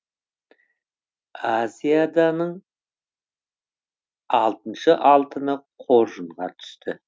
азиаданың алтыншы алтыны қоржынға түсті